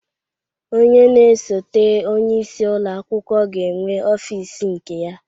Onye na-esote onyeisi ụlọakwụkwọ ga-enwe ọfịs nke ya.